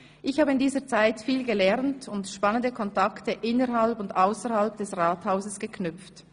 Ich habe in dieser Zeit viel gelernt und spannende Kontakte innerhalb und ausserhalb des Rathauses geknüpft.